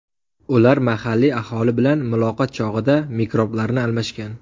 Ular mahalliy aholi bilan muloqot chog‘ida mikroblarni almashgan.